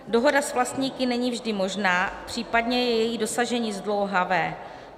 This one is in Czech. Dohoda s vlastníky není vždy možná, případně je její dosažení zdlouhavé.